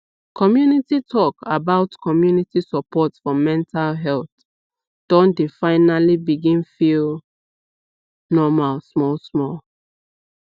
community talk about community support for mental health don dey finally begin feel normal small small